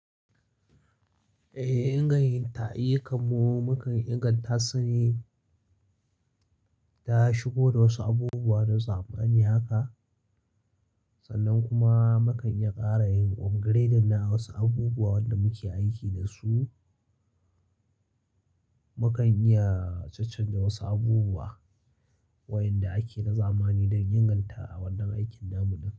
Eh, inganta ayyu kam mu mu kan inganta sune ta shigo da wasu abubuwa na zamani haka sannan kuma mu kan iya ƙara yin upgrade na wasu abubuwa wanda muke aiki da su. Mu kan iya caccanza wasu abubuwa wainda ake na zamani don inganta a wannan aikin namu ɗin.